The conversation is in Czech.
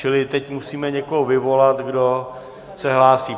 Čili teď musíme někoho vyvolat, kdo se hlásí.